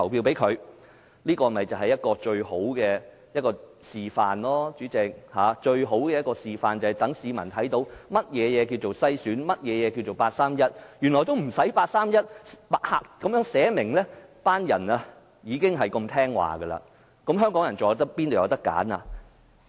代理主席，這就是一個最好的示範，讓市民看到何謂篩選及八三一框架，原來八三一框架沒有列明，那些人已經如此順從，香港人又怎會有選擇呢？